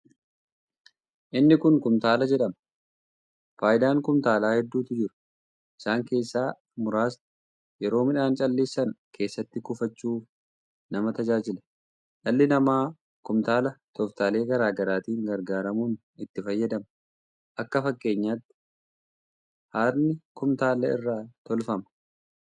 Inni kun kuntaala jedhama. Faayidaan kuntaalaa heddutu jira isaan keessaa muraasnii yeroo midhaan calleessan keessatti kuufachuuf nama tajaajila. Dhalli namaa kuntaala tooftaalee garaa garaatti gargaaramuun itti fayyadama. Akka fakkeenyatti hadni kuntaala irraa tolfama.